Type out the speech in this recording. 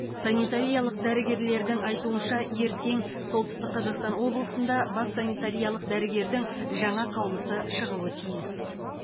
санитариялық дәрігерлердің айтуынша ертең солтүстік қазақстан облысында бас санитариялық дәрігердің жаңа қаулысы шығуы тиіс